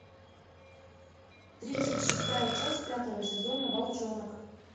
тридцать шестая часть пятого сезона волчонок